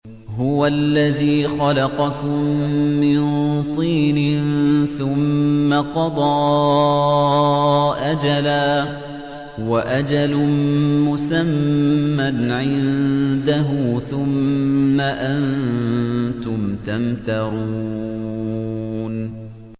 هُوَ الَّذِي خَلَقَكُم مِّن طِينٍ ثُمَّ قَضَىٰ أَجَلًا ۖ وَأَجَلٌ مُّسَمًّى عِندَهُ ۖ ثُمَّ أَنتُمْ تَمْتَرُونَ